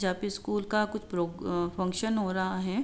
जा पे स्कूल का कुछ प्रो-अं-फंगक्शन हो रहा है।